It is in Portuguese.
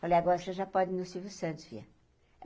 Falei, agora você já pode ir no Silvio Santos, filha.